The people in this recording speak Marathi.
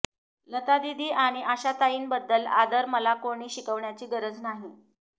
लतादीदी आणि आशाताईंबद्दल आदर मला कोणी शिकवण्याची गरज नाही